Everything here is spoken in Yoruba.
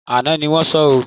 Àná ni wọ́n sọ ọ́